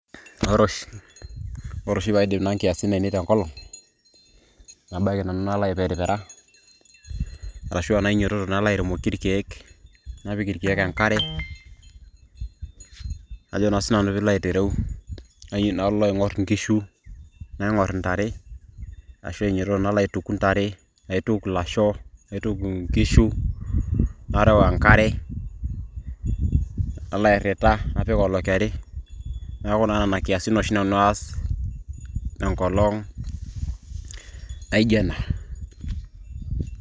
ore oshi paidip nanu inkiasin ainei tenkolong nabaiki nanu nalo aiperipera arashu enainyiototo nalo airemoki irkeek napik irkeek enkare ajo naa siinanu piilo aitereu nalo aing'orr nkishu narem naing'orr ntare ashu ainyototo nalo aituku ntare naituku ilasho naituku nkishu narew enkare nalo airrita napik olokeri neeku naa nena kiasin oshi nanu aas enkolong naijo ena.